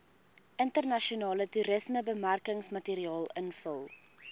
internasionale toerismebemarkingsmateriaal invul